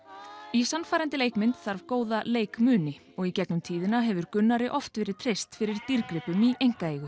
í sannfærandi leikmynd þarf góða leikmuni og í gegnum tíðina hefur Gunnari oft verið treyst fyrir dýrgripum í einkaeigu